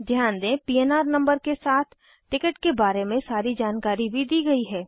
ध्यान दें पन्र नंबर के साथ टिकट के बारे में सारी जानकारी भी दी गयी है